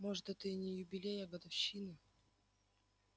может это и не юбилей а годовщина